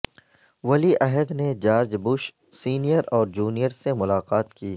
ولی عہد نے جارج بش سینئر اور جونیئر سے ملاقات کی